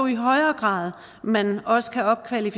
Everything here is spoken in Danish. jo højere grad man også kan opgradere